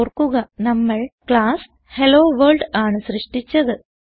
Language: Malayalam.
ഓർക്കുക നമ്മൾ ക്ലാസ് ഹെല്ലോവർൾഡ് ആണ് സൃഷ്ടിച്ചത്